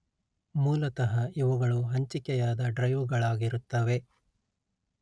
ಮೂಲತಃ ಇವುಗಳು ಹಂಚಿಕೆಯಾದ ಡ್ರೈವ್ ಗಳಾಗಿರುತ್ತವೆ